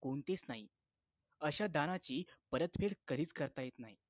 कोणतेच नाही अशा दानाची परतफेड कधीच करता येत नाही